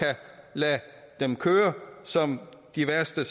lade dem køre som de værste